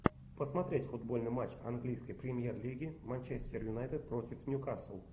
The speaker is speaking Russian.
посмотреть футбольный матч английской премьер лиги манчестер юнайтед против ньюкасл